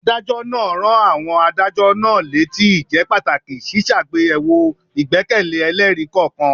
Adájọ́ náà rán àwọn adájọ́ náà létí ìjẹ́pàtàkì ṣíṣàgbéyẹ̀wò ìgbẹ́kẹ̀lé ẹlẹ́rìí kọ̀ọ̀kan.